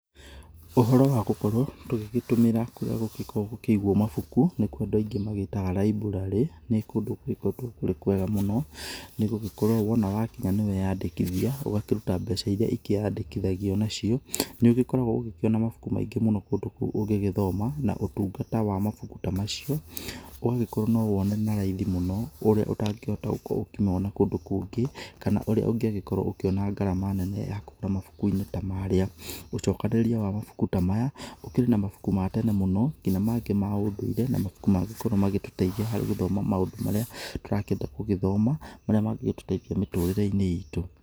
Ũhoro wa gũkorwo tũgĩgĩtũmĩra kũrĩa kũgĩkorwo gũkĩigwo mabuku nĩkuo andũ aingĩ magĩtaga library ni kũndũ kũrĩ kwega mũno nĩgũgĩkorwo wona wakinya ñiweandĩkithia ũgakĩruta mbeca irĩa ikĩandĩkithagio nacio. Nĩ ugĩkoragwo ũgĩkĩona mabuku maingĩ mũno kũndũ kũu ũngigĩthoma na ũtungata wa mabuku ta macio ũgũgĩkorwo no wone na raithi mũno ũrĩa ũtangĩhota gũkorwo ũkĩmona kũndũ kũngĩ kana urĩa ũngĩagĩkorwo ũkiona garama nene ya kũgũra mabukuinĩ ta maarĩa. Ũcokanĩrĩria wa mabuku ta maya ũkĩrĩ na mabuku ma tene mũno nginya mangĩ ma ũndũire na mangĩ na mabuku mangikorwo magĩtũteithia harĩ gũthoma maũndũ marĩa tũrakienda gũgĩthoma, marĩa mangĩtũteithia mĩturĩreinĩ itũ.